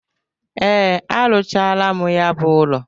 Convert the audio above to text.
Ee, a rụchala m ya bụ ụlọ.